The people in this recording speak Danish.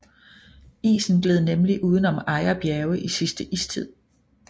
Isen gled nemlig uden om Ejer Bjerge i sidste istid